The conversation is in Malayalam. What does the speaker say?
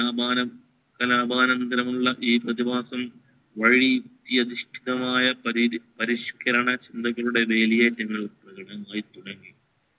കലാപാനം ഉള്ള ഈ പ്രതിപാസം വഴി യാദർശികമായ പരിഷ്‌കന ചിന്തകരുടെ വേലിയേറ്റങ്ങളും പ്രകടമായി തുടങ്ങി